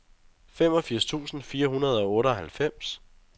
femogfirs tusind fire hundrede og otteoghalvfems